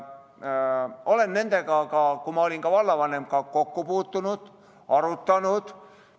Olen nendega, kui ma olin vallavanem, ka kokku puutunud ja teemat arutanud.